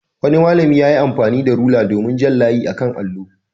Wani malami ya yi amfani da rula domin jan layi a kan allo.